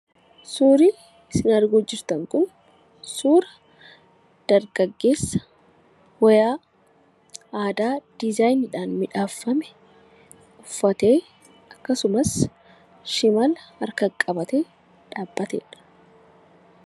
Suurri isin arguuf jirtan kun, suura dargaggeessa wayaa aadaa diizaayiniidhaan miidhagfame uffatee akkasumas shimala harkatti qabatee dhaabbatedha.